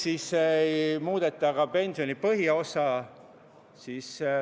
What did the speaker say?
... miks ei muudeta ka pensioni põhiosa.